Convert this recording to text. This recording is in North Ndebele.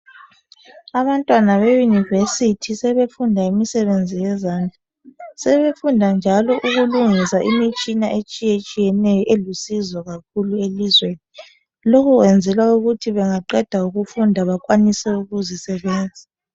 Abantwana be University sebefunda imisebenzi yezandla sebefunda njalo ukulungisa imitshina etshiyetshiyeneyo elusizo kakhulu elizweni lokhu kwenzelwa ukuthi bengaqeda ukufunda bakwanise ukuzi sebenza.